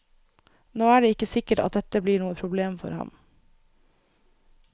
Nå er det ikke sikkert at dette blir noe problem for ham.